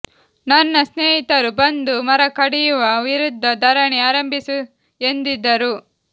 ನನ್ನ ಸ್ನೇಹಿತರು ಬಂದು ಮರ ಕಡಿಯುವ ವಿರುದ್ದ ಧರಣಿ ಆರಂಭಿಸು ಎಂದಿದ್ದರು